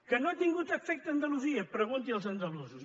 que no ha tingut efecte a andalusia pregunti als andalusos